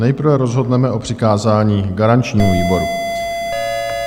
Nejprve rozhodneme o přikázání garančnímu výboru.